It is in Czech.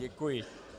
Děkuji.